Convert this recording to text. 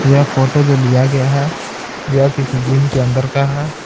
यह फोटो जो लिया गया है यह किसी जिम के अंदर का है।